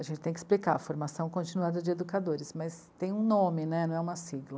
A gente tem que explicar a formação continuada de educadores, mas tem um nome né, não é uma sigla.